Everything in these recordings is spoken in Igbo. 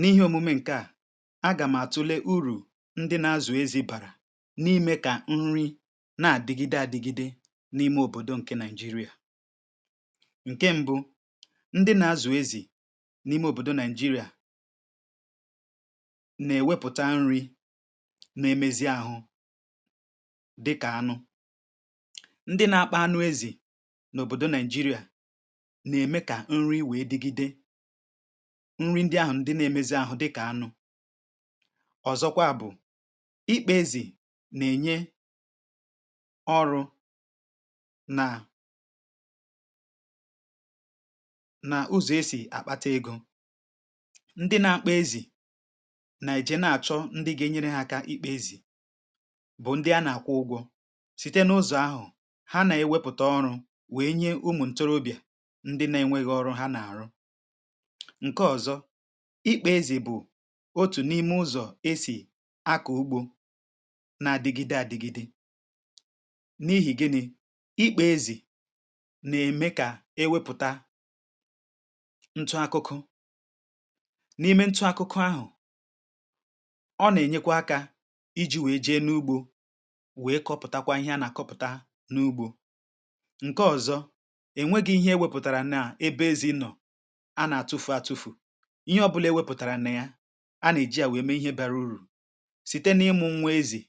N’ihe omume ǹke à, agà m àtụle urù ndị na-azụ̀ ezi bàrà n’ime kà nri na-àdịgide adịgide n’ime òbòdò ǹke Nigeria. Ǹke m̀bụ, ndị na-azụ̀ ezì n’ime òbòdò Nigeria, nà-èwepụ̀ta nri nà-emezi àhụ, dịkà anụ. Ndị na-akpa anụ ezì n’òbòdò Nigeria nà-ème kà nri wèe dịgide; nri ndị ahụ ndị na-emazi àhụ dịkà anụ̇. Ọzọkwa bụ̀, ikpȧ ezì na-enye ọrụ̇ nà nà ụzọ̀ e sì àkpata egȯ. Ndị na-akpȧ ezì na-eje na-achọ ndị ga-enyere hȧ kà ikpȧ ezì, bụ̀ ndị a na-akwụ̇ ụgwọ̇. Site n’ụzọ̀ ahụ̀ ha na-ewepùta ọrụ̇ wee nye ụmụ̀ ntorobịà ndị na-enweghi ọrụ ha na-àrụ. Ṅ̀ke ọ̀zọ, ikpȧ ezì bụ̀ otù n’ime ụzọ̀ esì akọ̀ ugbȯ na-adịgide adịgide. N’ihì gịnị̇? Ikpȧ ezì nà-ème kà ewėpụ̀ta ntụ akụkụ. N’ime ntụ akụkụ ahụ̀, ọ nà-ènyekwa akȧ iji̇ wee jee n’ugbȯ wee kọpụ̀takwa ihe a nà-àkọpụ̀ta n’ugbȯ. Ṅ̀ke ọ̀zọ, enweghi̇ ihe e wepụ̀tàrà nà ebe ezi nọ̀ à n’atufu atufu. Ihe ọ̇bụ̇là e wepụ̀tàrà n’ya a nà-èji à wèe mee ihe bara urù. Site n’ịmụ̇ ṅwȧ ezì,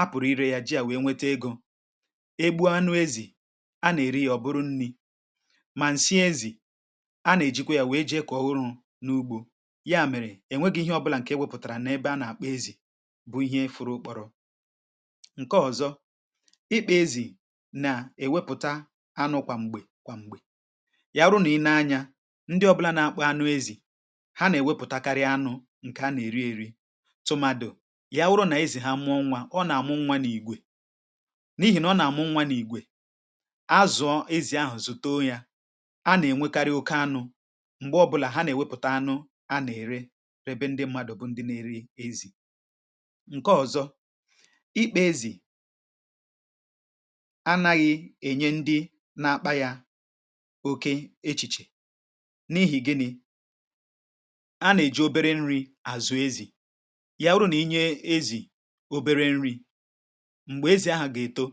a pụ̀rụ̀ irė yȧ ji à wèe nwete egȯ. Egbue anụ ezì; a nà-èri yȧ ọ̀ bụrụ nni̇, mà ǹsị ezì; a nà-èjikwa yȧ wèe ji ekọ̀ ọ̀ ụrụ̇ n’ugbȯ. Ya mèrè ènweghi̇ ihe ọbụlà ǹkè e wepụ̀tàrà nà ebe a nà-àkpọ ezì, bụ̇ ihe fụrụ-ụkpọ̀rọ̀. Ǹke ọ̀zọ, ịkpȧ ezì nà-èwepụ̀ta anụ kwàm̀gbè kwàm̀gbè. Ya’rụ̇ nà i nė anyȧ, ndị ọbụ̇là na-akpȧ anụ̇ ezi, ha nà-èwepùtakarị anụ̇ ǹkè anà-èri ėri̇ tụ̀màdù ya wụrụ nà ezì ha mụọ nwa. Ọ nà-àmụ nwa n’ìgwè. N’ihì nà ọ nà-àmụ nwa n’ìgwè, azụ̀ọ ezì ahụ̀ zùto yȧ, a nà-ènwekarị oke anụ̇. M̀gbè ọbụ̇là ha nà-èwepùta anụ̇ a nà-ère, rebe ndị mmadụ̀, bụ ndị na-eri ezì. Ǹke ọ̀zọ, ikpȧ-ezì anaghị̇ ènye ndị na-akpȧ yȧ òke echìchè. N’ihì gịnị̇? A nà-èji obere nri̇ àzụ ezì. Ya-wurù nà-inyè ezì obere nri̇, m̀gbè ezi̇ ahà gà-èto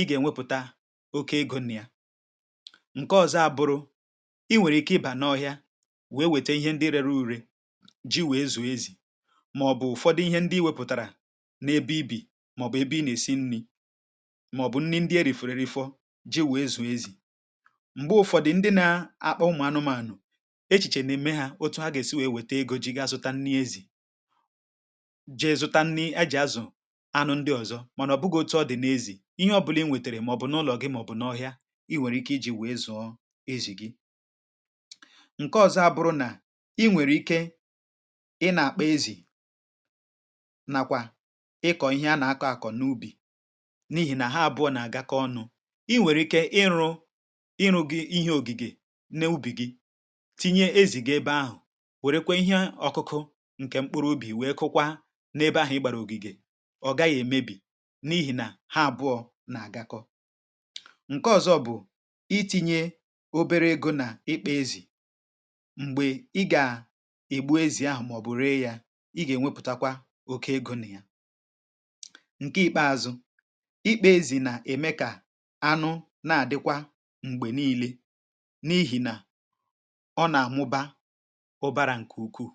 ị gà-ènwepùta oke egȯ n’ya. Ǹke ọzọ abụrụ̇, i nwèrè ike ịbà na ọhịȧ wèe wète ihe ndị rere ùre ji wèe zùo ezì, màọ̀bụ̀ ụ̀fọdụ ihe ndị iwepùtàrà n’ebe ibì màọ̀bụ̀ ebe ị nà-èsi nni̇, màọ̀bụ̀ nni ndị e rìfọ̇rù eri̇fọ̇ ji wèe zùo ezì. M̀gbe ụ̀fọdù ndị na-akpȧ ụmụ̀ anụmȧnụ̀, echìchè n’eme ha otu ha gà-èsi wèe wète ego jì ga-asụta nni̇ ezì, je zụta nni̇ a jì azụ̀ anụ̇ ndị ọ̀zọ mànà ọ̀ bụgà otu ọ dị̀ n’ezì. Ihe ọ̀bụlà ị nwètèrè, màọ̀bụ̀ n’ụlọ̀ gị, màọ̀bụ̀ n’ọhịa, i nwèrè ike iji̇ wèe zụ̀ọ ezì gị. Ṅ̀ke ọzọ abụrụ nà, i nwèrè ike ị na-àkpȧ ezì nakwà ịkọ̀ ihe a nà-akọ̀ àkọ̀ n’ubì n’ihì nà ha àbụọ nà-àgakọ ọnụ̇. I nwèrè ike ịrụ̇ ịrụ̇ gị ihe ògìgì n’ubì gị ti̇nyė ezì gị ebe ahu, wèrekwa ihe ọ̀kụkụ ǹkè mkpụrụ ubì wèe kụkwa n’ebe ahụ̀ ịgbàrà ògìgè. Ọ̀ gaghị̀ èmebì n’ihì nà ha àbụọ̇ nà-àgakọ. Ǹke ọ̀zọ bụ̀ iti̇nyė obere egȯ nà ikpe ezì m̀gbè ị gà ègbu ezì ahụ̀ màọ̀bụ̀ ree yȧ ị gà-ènwepùtakwa oke egȯ nà ya. Ǹke ikpeȧzụ̇, ikpe ezì nà-ème kà anụ na-àdịkwa m̀gbè nii̇le, n’ihì nà ọ nà-àmuba ụ̀bàrà ǹkè ukwuù.